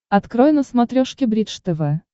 открой на смотрешке бридж тв